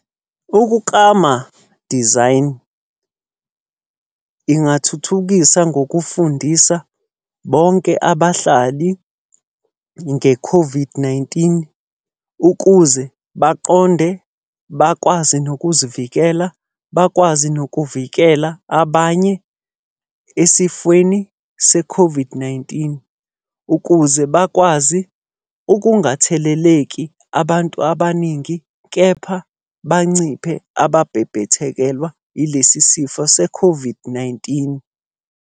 Ukuklama, design. Ngingathuthukisa ngokufundisa bonke abahlali nge-COVID-19, ukuze baqonde, bakwazi nokuzivikela, bakwazi nokuvikela abanye esifweni se-COVID-19. Ukuze bakwazi ukungatheleleki abantu abaningi, kepha banciphe ababhebhethekelwa yilesi sifo se-COVID-19.